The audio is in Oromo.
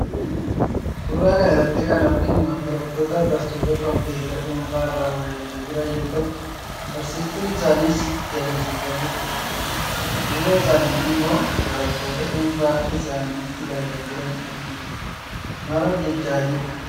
Suuraa kana irratti kan arginu barattootaa fi barsiistuu kompuutara dhuunfaa irraa waa ilaalaa jiran yoo ta'u, barsiistuun isaanis itti agarsiisaa jirti. Duuba isaaniitti immoo barattoota dhuunfaa isaaniitti ilaalaa jiran argina. Maal hojjechaa jiru?